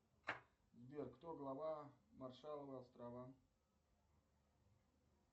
сбер кто глава маршалловы острова